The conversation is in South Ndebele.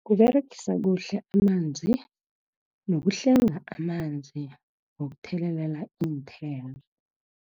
Kuberegisa kuhle wamanzi, nokuhlenga amanzi, wokuthelelela iinthelo.